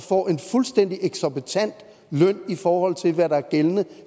får en fuldstændig eksorbitant løn i forhold til hvad der er gældende